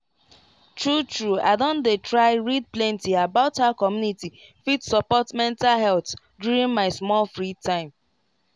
true true i don dey try read plenty about how community fit support mental health during my small free time